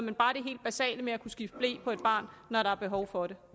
er bare det helt basale med at kunne skifte ble på et barn når der er behov for det